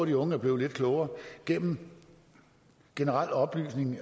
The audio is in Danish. de unge er blevet lidt klogere gennem generel oplysning